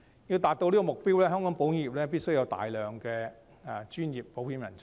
要達到這個目標，香港保險業必須有大量專業保險人才。